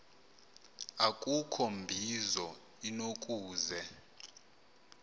akukho mbizo inokuze